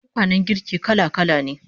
Tukwanen girki kala-kala ne